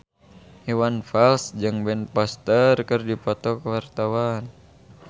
Iwan Fals jeung Ben Foster keur dipoto ku wartawan